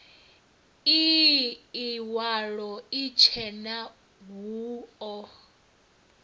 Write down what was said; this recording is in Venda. ii iwalo itshena hu o